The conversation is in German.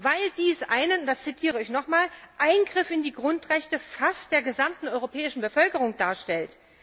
Weil dies einen ich zitiere nochmals Eingriff in die Grundrechte fast der gesamten europäischen Bevölkerung darstellt.